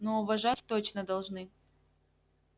но уважать точно должны